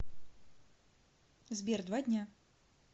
сбер два дня